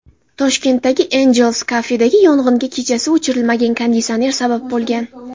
Toshkentdagi Angel’s Cafe’dagi yong‘inga kechasi o‘chirilmagan konditsioner sabab bo‘lgan .